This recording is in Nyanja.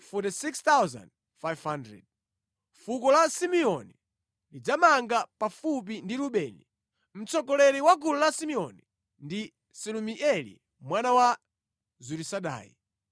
Fuko la Simeoni lidzamanga pafupi ndi Rubeni. Mtsogoleri wa gulu la Simeoni ndi Selumieli mwana wa Zurisadai.